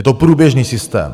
Je to průběžný systém.